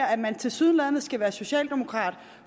at man tilsyneladende skal være socialdemokrat